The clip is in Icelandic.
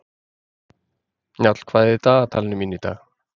Njáll, hvað er á dagatalinu mínu í dag?